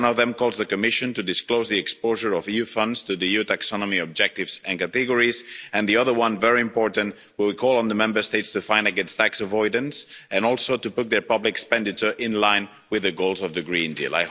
One of them calls on the Commission to disclose the exposure of EU funds to the EU taxonomy objectives and categories, and the other one very important will call on the Member States to act against tax avoidance and also to put their public expenditure in line with the goals of the Green Deal.